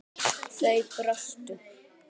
Þau brostu.